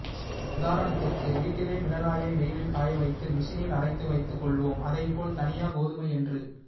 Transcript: உதாரணத்திற்கு வீட்டிலே மிளகாயை வெயிலில் காய வைத்து மிஷினில் அரைத்து வைத்துக் கொள்வோம் அதைப் போல் தனியா கோதுமை என்று